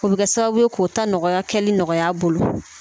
O bɛ kɛ sababu ye k'o ta nɔgɔya kɛli nɔgɔya a bolo